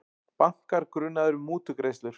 Bankar grunaðir um mútugreiðslur